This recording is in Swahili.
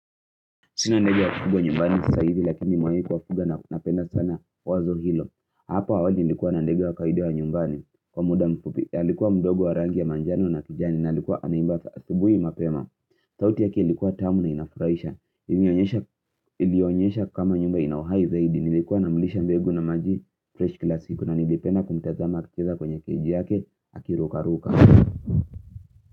Sina ndege wa kufugwa nyumbani sasa hivi lakini nimewai kuwafuga na napenda sana wazo hilo. Hapo awali nilikuwa na ndege wa kawaida wa nyumbani. Kwa muda mfupi, alikuwa mdogo wa rangi ya manjano na kijani na alikuwa anaimba asibui mapema. Sauti yake ilikuwa tamu na inafuraisha. Ilionyesha kama nyumba ina uhai zaidi. Nilikuwa namlisha mbegu na maji fresh kila siku na nilipenda kumtazama akicheza kwenye cage yake akiruka ruka.